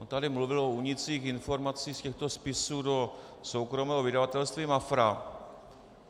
On tady mluvil o únicích informací z těchto spisů do soukromého vydavatelství Mafra.